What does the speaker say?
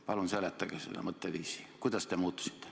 Palun seletage seda mõtteviisi, kuidas te muutusite.